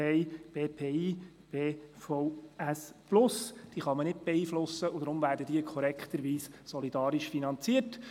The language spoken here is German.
Diese kann man nicht beeinflussen, und deshalb werden sie korrekterweise solidarisch finanziert.